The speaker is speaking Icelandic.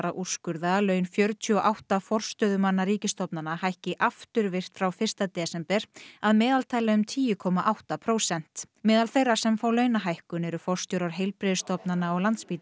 að úrskurða að laun fjörutíu og átta forstöðumanna ríkistofnana hækki afturvirkt frá fyrsta desember að meðaltali um tíu komma átta prósent meðal þeirra sem fá launahækkun eru forstjórar heilbrigðisstofnana og Landspítala